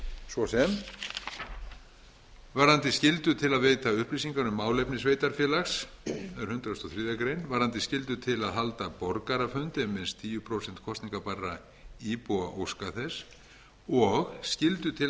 svo sem varðandi skyldu til að veita upplýsingar um málefni sveitarfélags er hundrað og þriðju greinar varðandi skyldu til að halda borgarafund ef minnst tíu prósent kosningabærra íbúa óska þess og skyldu til að